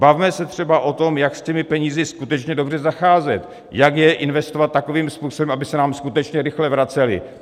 Bavme se třeba o tom, jak s těmi penězi skutečně dobře zacházet, jak je investovat takovým způsobem, aby se nám skutečně rychle vracely.